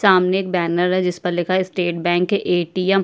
सामने एक बैनर है जिसपर लिखा है स्टेट बैंक ए.टी.एम. ।